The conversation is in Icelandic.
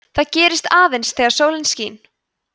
það gerist aðeins þegar sólin skín